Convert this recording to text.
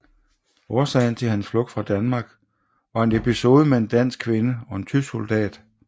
Årsagen til hans flugt fra Danmark var en episode med en dansk kvinde og en tysk soldat